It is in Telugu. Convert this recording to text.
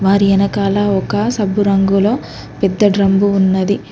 మరి వెనకాల ఒక సబ్బురంగులో పెద్ద డ్రమ్ము ఉన్నది.